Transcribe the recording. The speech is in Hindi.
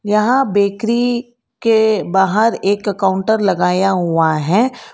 यहां बेकरी के बाहर एक काउंटर लगाया हुआ है।